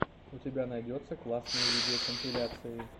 у тебя найдется классные видеокомпиляции